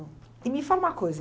E me fala uma coisa.